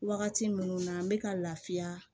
Wagati minnu na n bɛ ka lafiya